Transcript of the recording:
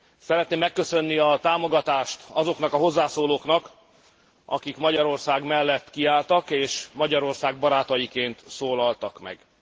Szeretném megköszönni a támogatást azoknak a hozzászólóknak, akik Magyarország mellett kiálltak és Magyarország barátaiként szólaltak meg.